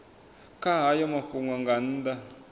kha hayo mafhungo nga nnḓa